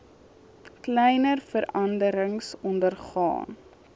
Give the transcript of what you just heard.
kleiner veranderings ondergaan